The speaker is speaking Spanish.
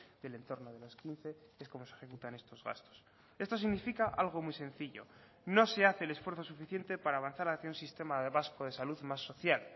del entorno de los quince es como se ejecutan estos gastos esto significa algo muy sencillo no se hace el esfuerzo suficiente para avanzar hacia un sistema vasco de salud más social